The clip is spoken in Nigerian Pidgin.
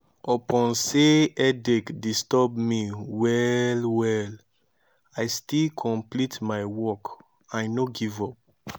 upon sey headache disturb me well-well i still complete my work i no give up.